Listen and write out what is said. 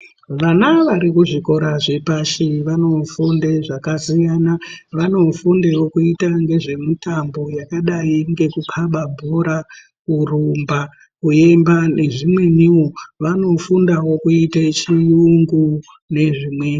Vana vari kuzvikora zvepashi vanofunda zvakasiyana, vanofundewo kuita ngezve mutambo yakadai ngeku khaba bhora, kurumba, kuimba nezvimweniwo vanofundawo kuite chiyungu nezvimweni.